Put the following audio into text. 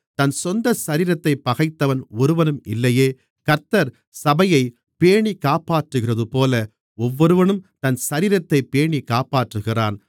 தன் சொந்த சரீரத்தைப் பகைத்தவன் ஒருவனும் இல்லையே கர்த்தர் சபையைப் பேணிக்காப்பாற்றுகிறதுபோல ஒவ்வொருவனும் தன் சரீரத்தைப் பேணிக்காப்பாற்றுகிறான்